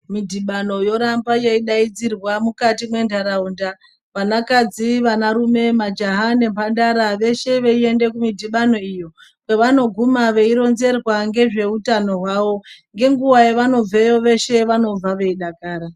Midhibano yoramba yeidaidzirwa mukati mendaraunda , vanakadzi , vanarume , majahaya , nemhandara veshe veinde kumidhibano iyi pevanoguma veironzerwa ngezveutano hwavo ngenguva yevanobveyo veshe vanobva veidakara